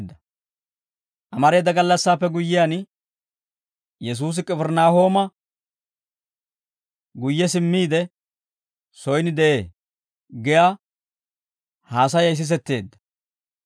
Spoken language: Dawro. Amareeda gallassaappe guyyiyaan, «Yesuusi K'ifirinaahooma guyye simmiide, soyin de'ee» giyaa haasayay sisetteedda.